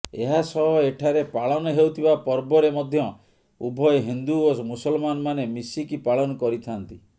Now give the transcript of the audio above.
ଏହାସହ ଏଠାରେ ପାଳନହେଉଥିବା ପର୍ବରେ ମଧ୍ୟ ଉଭୟ ହିନ୍ଦୁ ଓ ମୁସଲମାନ ମାନେ ମିଶିକି ପାଳନ କରିଥାଆନ୍ତି